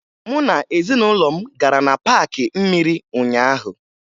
Mụ na ezinụlọ m gara na paakị mmiri ụnyaahụ